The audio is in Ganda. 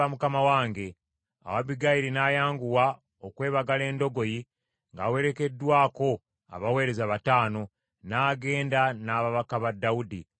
Awo Abbigayiri n’ayanguwa okwebagala endogoyi, ng’awerekeddwako abaweereza bataano, n’agenda n’ababaka ba Dawudi, n’amufumbirwa.